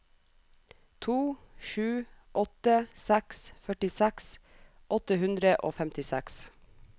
to sju åtte seks førtiseks åtte hundre og femtiseks